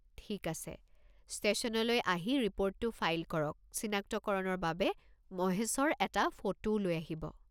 ঠিক আছে, ষ্টেশ্যনলৈ আহি ৰিপৰ্টটো ফাইল কৰক, চিনাক্তকৰণৰ বাবে মহেশৰ এটা ফটোও লৈ আহিব।